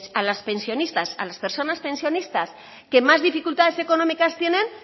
a las pensionistas a las personas pensionistas que más dificultades económicas tienen